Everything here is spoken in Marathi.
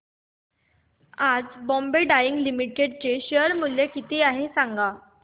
आज बॉम्बे डाईंग लिमिटेड चे शेअर मूल्य किती आहे सांगा